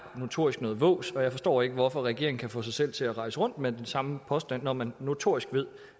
notorisk noget vås og jeg forstår ikke hvorfor regeringen kan få sig selv til at rejse rundt med den samme påstand når man notorisk ved